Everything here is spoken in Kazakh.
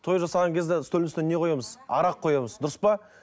той жасаған кезде үстелдің үстіне не қоямыз арақ қоямыз дұрыс па